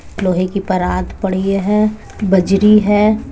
लोहे की परात पड़ी है। बजरी है।